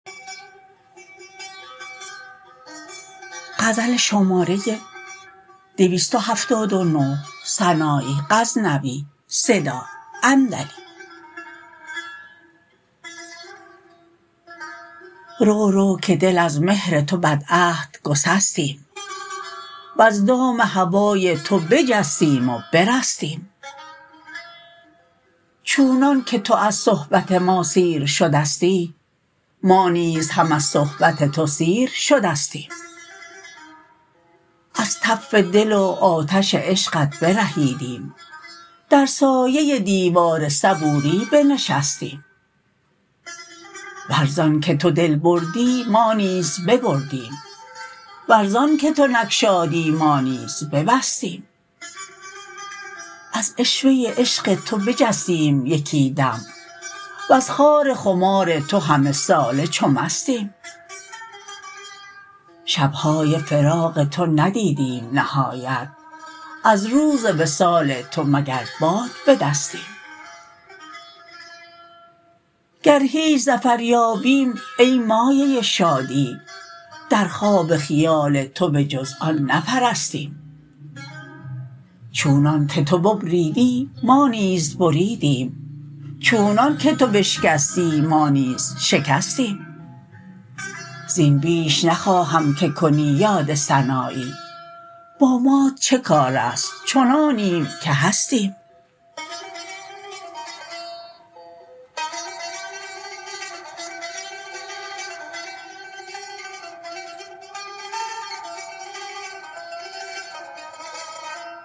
رو رو که دل از مهر تو بد عهد گسستیم وز دام هوای تو بجستیم و برستیم چونان که تو از صحبت ما سیر شدستی ما نیز هم از صحبت تو سیر شدستیم از تف دل و آتش عشقت برهیدیم در سایه دیوار صبوری بنشستیم ور زان که تو دل بردی ما نیز ببردیم ور زان که تو نگشادی ما نیز ببستیم از عشوه عشق تو بجستیم یکی دم وز خار خمار تو همه ساله چو مستیم شبهای فراق تو ندیدیم نهایت از روز وصال تو مگر باد به دستیم گر هیچ ظفر یابیم ای مایه شادی در خواب خیال تو به جز آن نپرستیم چونان که تو ببریدی ما نیز بریدیم چونان که تو بشکستی ما نیز شکستیم زین بیش نخواهم که کنی یاد سنایی با مات چکارست چنانیم که هستیم